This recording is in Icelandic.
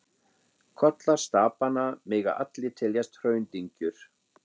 Kollar stapanna mega allir teljast hraundyngjur.